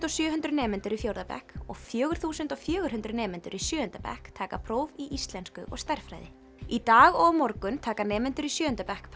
og sjö hundruð nemendur í fjórða bekk og fjögur þúsund og fjögurhundruð nemendur í sjöunda bekk taka próf í íslensku og stærðfræði í dag og á morgun taka nemendur í sjöunda bekk